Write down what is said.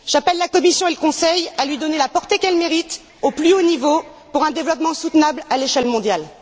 J'appelle la Commission et le Conseil à lui donner la portée qu'elle mérite au plus haut niveau, pour un développement soutenable à l'échelle mondiale.